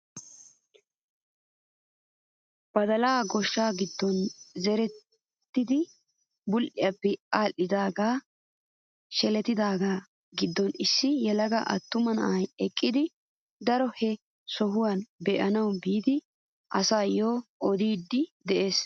Badalay goshsha giddon zerettidi bul"iyaappe aadhdhidagee shlettidagaa giddon issi yelaga attuma na'ay eqqidi daro he sohuwaa be; anawu biida asayoo odiidi de'ees!